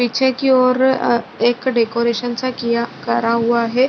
पीछे की ओर अ एक डेकोरेशन सा किया करा हुआ है।